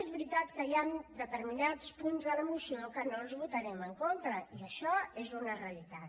és veritat que hi han determinats punts de la moció que no els votarem en contra i això és una realitat